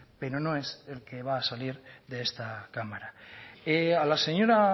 pero no es el que va a salir de esta cámara a la señora